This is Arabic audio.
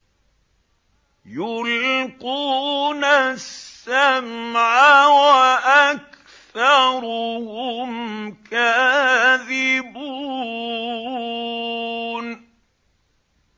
يُلْقُونَ السَّمْعَ وَأَكْثَرُهُمْ كَاذِبُونَ